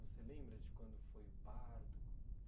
Você lembra de quando foi o parto?